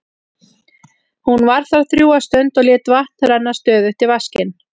Hún var þar drjúga stund og lét vatn renna stöðugt í vaskinn.